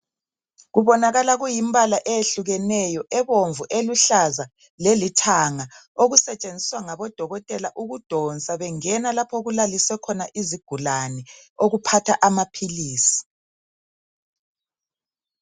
Kubonakala kuyimbala eyehlukeneyo ebomvu ,eluhlaza lelithanga okusetshenziswa ngodokotela ukudonsa bengena lapho okulaliswe khona izigulane okuphatha amaphilisi.